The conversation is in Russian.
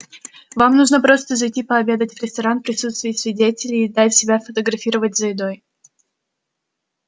вам нужно просто зайти пообедать в ресторан присутствии свидетелей и дать себя сфотографировать за едой